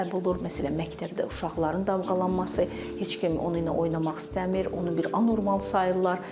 Məsələn, məktəbdə uşaqların damğalanması, heç kim onunla oynamaq istəmir, onu bir anormal sayırlar.